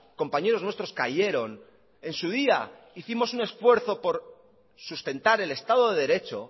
compañeros nuestros cayeron en su día hicimos un esfuerzo por sustentar el estado de derecho